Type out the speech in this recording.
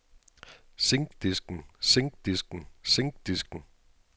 zinkdisken zinkdisken zinkdisken